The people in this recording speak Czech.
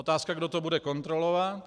Otázka - kdo to bude kontrolovat?